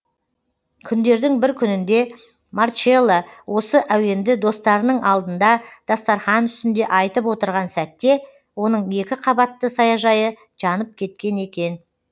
күндердің бір күнінде марчелло осы әуенді достарының алдында дастарқан үстінде айтып отырған сәтте оның екі қабатты саяжайы жанып кеткен екен